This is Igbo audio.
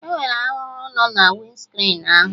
Enwere arụrụ no na winscrin ahụ